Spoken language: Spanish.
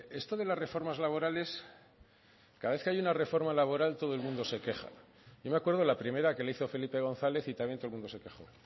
esto de las reformas laborales cada vez que hay una reforma laboral todo el mundo se queja yo me acuerdo la primera que le hizo felipe gonzález y también todo el mundo se quejó